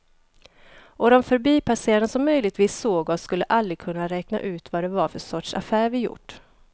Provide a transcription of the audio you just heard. Och de förbipasserande som möjligtvis såg oss skulle aldrig kunna räkna ut vad det var för sorts affär vi gjort.